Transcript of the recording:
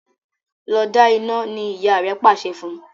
Lọ da ina! ní ìyá rẹ pàṣẹ fún.